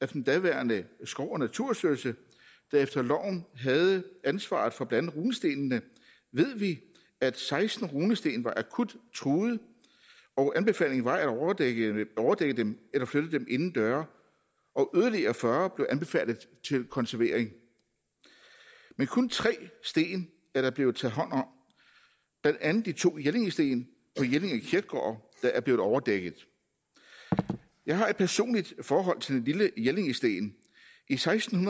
den daværende skov og naturstyrelse der efter loven havde ansvaret for blandt andet runestenene ved vi at seksten runesten var akut truede og anbefalingen var at overdække overdække dem eller flytte dem indendøre og yderligere fyrre blev anbefalet til konservering men kun tre sten er der blevet taget hånd om blandt andet de to jellingsten på jelling kirkegård der er blevet overdækket jeg har et personligt forhold til den lille jellingsten i seksten